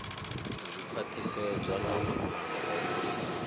zwi khwaṱhisedzwa nga maṅwalo o